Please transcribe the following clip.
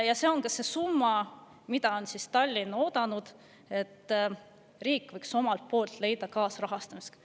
Tallinn on oodanud, et see on ka see summa, mille riik võiks omalt poolt kaasrahastamiseks leida.